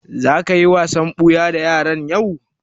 Za ka yi wasan ɓuya da yaran yau?